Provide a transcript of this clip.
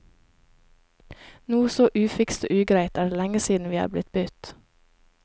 Noe så ufikst og ugreit er det lenge siden vi er blitt budt.